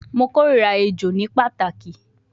Mo korira ejo ni pataki